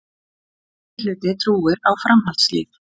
Meirihluti trúir á framhaldslíf